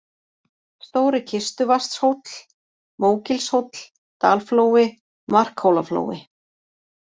Stóri-Kistuvatnshóll, Mógilshóll, Dalflói, Markhólaflói